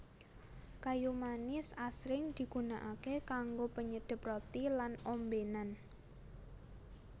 Kayu manis asring digunakaké kanggo penyedhep roti lan ombénan